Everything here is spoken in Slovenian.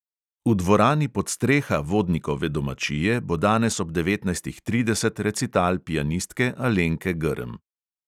V dvorani podstreha vodnikove domačije bo danes ob devetnajstih trideset recital pianistke alenke grm.